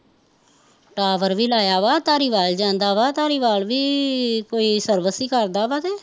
tower ਵੀ ਲਾਇਆ ਵਾਂ, ਧਾਰੀਵਾਲ ਜਾਂਦਾ ਵਾ, ਧਾਰੀਵਾਲ ਵੀ ਕੋਈ service ਈ ਕਰਦਾ ਵਾ ਤੇ